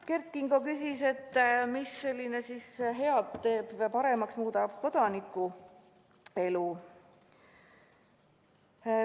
Kert Kingo küsis, kuidas see muudab paremaks kodaniku elu.